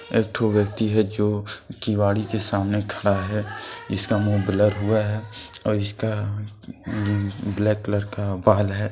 एक ठो व्यक्ति है जो किवाड़ी के सामने खड़ा है जिसका मुंह हुआ है और इसका अम ब्लैक कलर का बाल है।